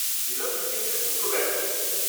দেরাদুন কেন্দ্রে দুটো ব্যাচ রয়েছে।